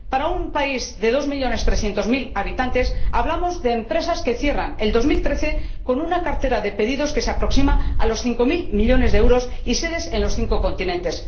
Para un país de 2300000 habitantes, hablamos de empresas que cierran el 2013 con una cartera de pedidos que se aproxima a los 5 mil millones de euros y sedes en los cinco continentes.